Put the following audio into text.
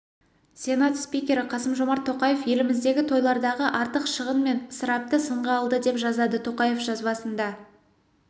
сенат спикері қасым-жомарт тоқаев еліміздегі тойлардағы артық шығын мен ысырапты сынға алды деп жазады тоқаев жазбасында